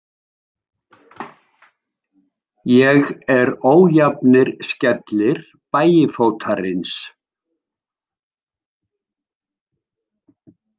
Ég er ójafnir skellir Bægifótarins.